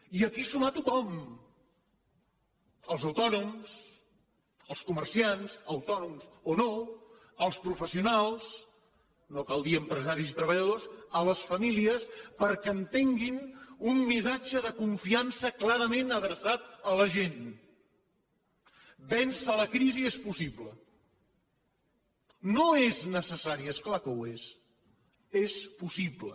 i aquí sumar tothom els autònoms els comerciants autònoms o no els professionals no cal dir empresaris i treballadors les famílies perquè entenguin un missatge de confiança clarament adreçat a la gent vèncer la crisi és possible no és necessari és clar que ho és és possible